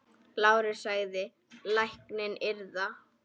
LÁRUS: Lækninn yðar?